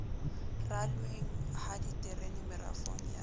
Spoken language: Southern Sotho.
ralweng ha diterene merafong ya